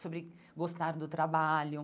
sobre gostar do trabalho.